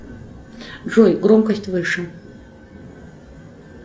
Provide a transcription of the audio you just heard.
джой громкость выше